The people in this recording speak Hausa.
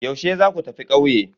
Yaushe za ku tafi ƙauye?